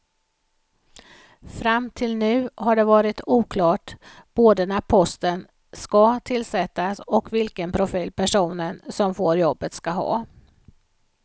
Fram till nu har det varit oklart både när posten ska tillsättas och vilken profil personen som får jobbet ska ha.